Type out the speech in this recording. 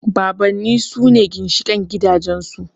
Babanni sune ginshiƙin gidajen su